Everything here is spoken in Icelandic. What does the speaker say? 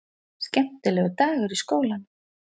Skemmtilegur dagur í skólanum!